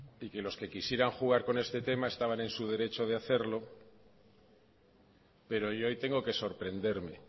y que los que quisieran jugar con este tema estaban en su derecho de hacerlo pero yo ahí tengo que sorprenderme